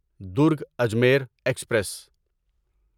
Durg Ajmer express